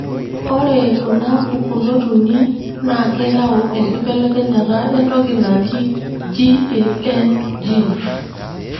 ore kuna pukunot uni na keyau enkibelekenyata entoki naaji GAN gene.